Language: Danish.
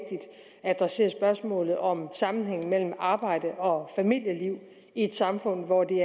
adressere spørgsmålet om sammenhængen mellem arbejde og familieliv i et samfund hvor det